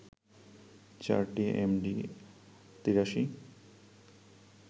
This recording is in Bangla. চারটি এমডি-৮৩